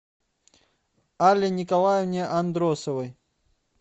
алле николаевне андросовой